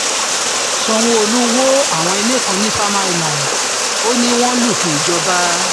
sanwó-olu wọ àwọn ilé kan ní farmer island ó ní wọ́n lufin ìjọba